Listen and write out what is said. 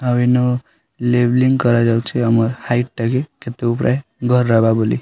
ଆଉ ଇନ ଲେବ୍ଲିଙ୍ଗ୍ କରାଯାଉଛେ ଆମର୍ ହାଇଟ୍ ଟାକି କିନ୍ତୁ ପ୍ରୟେ ଘର୍ ହେବା ବୋଲି।